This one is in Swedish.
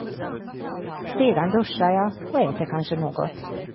Sedan duschar jag, och äter kanske något.